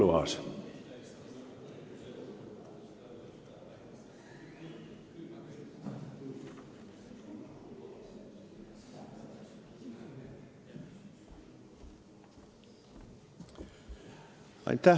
Henn Põlluaas.